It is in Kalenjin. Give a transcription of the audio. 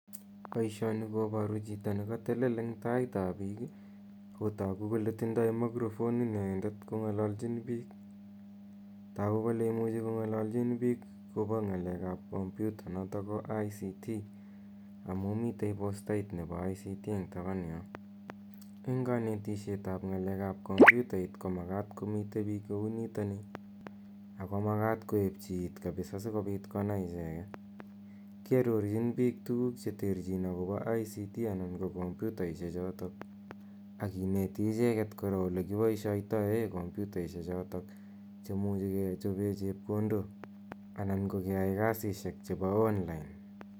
Poishoni koparu chito ne katelel eng' taitap piik. Ako tagu kole tindai mikrofonit inendet kong'alachin piik. Tagu kole imuchi ko ng'alachim akopa ng'alek ap kompyuta notok ko ICT amu miten postait nepo ICT eng tapan yo. Eng' kanetishet ap ng'alek ap kompyitait ko makat komitei piik kou nitani ako makat koepchi iit kapisa asikopit konai icheget. Kiarorchin piik tuguuk che terchin akopa ICT anan ko kompyutaishechotok ak kineti icheget kora ole kipaishaitae kompyutaishechotok che imuchi kechope chepkondok anan ko ke yae kasishek chepo online.